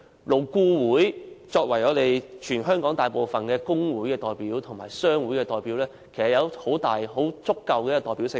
勞顧會作為全香港大部分工會及商會的代表，具有足夠的代表性。